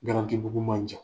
Garantibugu man jan.